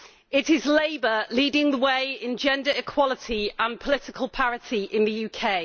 It is Labour leading the way in gender equality and political parity in the UK.